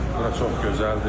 Bura çox gözəldir.